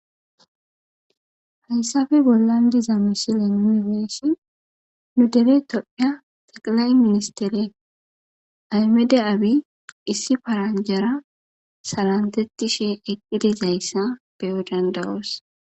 Hayssafe bollan diza misile nunibeessi nu dere tophya taqilay ministere aymede abi issi paranjara salantettishi eqqidizayssa beyo dandawoos.